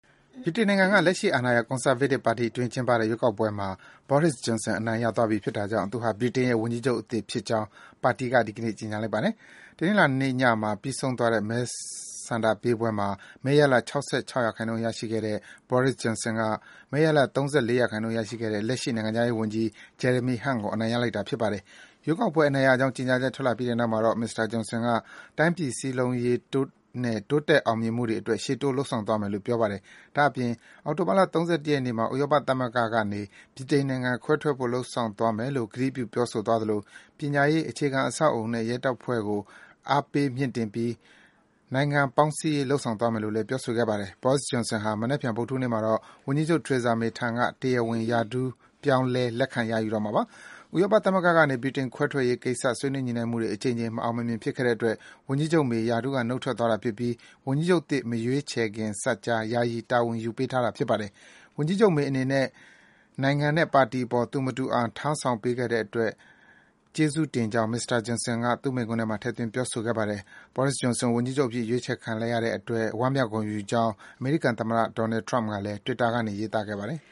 ဗြိတိန်နိုင်ငံက လက်ရှိအာဏာရ ကွန်ဆာဗေးတစ်ပါတီအတွင်း ကျင်းပတဲ့ ရွေးကောက်ပွဲမှာ Boris Johnson အနိုင်ရသွားပြီဖြစ်တာကြောင့် သူဟာ ဗြိတိန်ရဲ့ ဝန်ကြီးချုပ် အသစ် ဖြစ်ကြောင်း ပါတီက ဒီကနေ့ ကြေညာလိုက်ပါတယ်။ တနင်္လာနေ့ညမှာ ပြီးဆုံးသွားတဲ့ မဲဆန္ဒပေးပွဲမှာ မဲရလဒ် ၆၆ ရာခိုင်နှုန်း ရရှိခဲ့တဲ့ Boris Johnson က မဲရလဒ် ၃၄ ရာခိုင်နှုန်း ရခဲ့တဲ့ လက်ရှိ နိုင်ငံခြားရေးဝန်ကြီး Jeremy Hunt ကို အနိုင်ရလိုက်တာ ဖြစ်ပါတယ်။ ရွေးကောက်ပွဲအနိုင်ရကြောင်း ကြေငြာချက်ထွက်လာပြီးတဲ့နောက်မှာတော့ မစ္စတာ Johnson က တိုင်းပြည် စည်းလုံးရေးနဲ့ တိုးတက်အောင်မြင်မှုတွေအတွက် ရှေ့တိုး ဆောင်ရွက်သွားမယ့်အကြောင်း ပြောပါတယ်။ ဒါ့အပြင် အောက်တိုဘာလ ၃၁ ရက်နေ့မှာ ဥရောပသမဂ္ဂနေ ဗြိတိန်နိုင်ငံခွဲထွက်ဖို့ လုပ်ဆောင်သွားမယ်လို့ ကတိပြု ပြောဆိုသွားသလို ပညာရေး၊ အခြေခံအဆောက်အအုံနဲ့ ရဲတပ်ဖွဲ့ကို အားပေးမြှင့်တင်ပြီး နိုင်ငံပေါင်းစည်းရေး လုပ်ဆောင်သွားမယ်လို့လည်း ပြောဆိုခဲ့ပါတယ်။ Boris Johnson ဟာ မနက်ဖြန်ဗုဒ္ဓဟူးနေ့မှာတော့ ဝန်ကြီးချုပ် Theresa May ထံကနေ တရားဝင် ရထူးပြေားလဲ လက်ခံရယူတော့မှာပါ။ ဥရောပသမဂ္ဂကနေ ဗြိတိန်ခွဲထွက်ရေးကိစ္စ ဆွေးနွေးညှိနှိုင်းမှုတွေ အကြိမ်ကြိမ် မအောင်မမြင်ဖြစ်ခဲ့တဲ့အတွက် ဝန်ကြီးချုပ် May ရာထူးက နုတ်ထွက်သွားတာဖြစ်ပြီး ဝန်ကြီးချုပ်သစ် မရွေးချယ်ခင်စပ်ကြား ယာယီ တာဝန်ယူထားပေးတာ ဖြစ်ပါတယ်။ ဝန်ကြီးချုပ် May အနေနဲ့ နိုင်ငံနဲ့ ပါတီအပေါ် သူမတူအောင် တာဝန် ထမ်းဆောင်ပေးခဲ့တဲ့အတွက် ကျေးဇူးတင်ကြောင့် မစ္စတာ Johnson ဟာ သူ့မိန့်ခွန်းထဲမှာ ထည့်သွင်းပြောဆိုခဲ့ပါတယ်။ Boris Johnson ဝန်ကြီးချုပ်အဖြစ် ရွေးချယ်ခံလိုက်ရတဲ့အတွက် ဝမ်းမြောက်ဂုဏ်ယူကြောင်း အမေရိကန်သမ္မတ Donald Trump ကလည်း Twitter ကနေ ရေးသားခဲ့ပါတယ်။